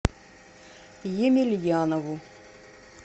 емельянову